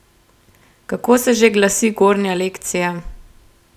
Kako se že glasi gornja lekcija?